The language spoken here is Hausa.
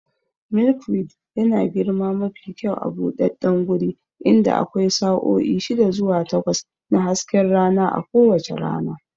Milkweed yana girma mafi kyau a buɗaɗɗen guri inda akwai sa'o'i shida zuwa takwas na hasken rana a kowace rana.